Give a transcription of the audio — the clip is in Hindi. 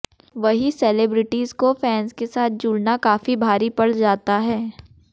वहीं सेलेब्रिटीज को फैंस के साथ जुड़ना काफी भारी पड़ जाता है